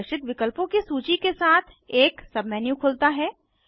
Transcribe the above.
प्रदर्शित विकल्पों की सूची के साथ एक सबमेन्यू खुलता है